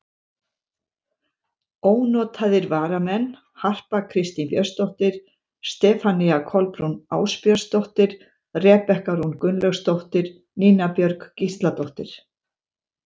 Ónotaðir varamenn: Harpa Kristín Björnsdóttir, Stefanía Kolbrún Ásbjörnsdóttir, Rebekka Rún Gunnlaugsdóttir, Nína Björk Gísladóttir.